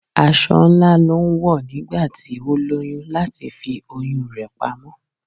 Aṣọ ńlá ló ń wọ̀ nígbà tí ó lóyún láti fi oyún rè pamọ́.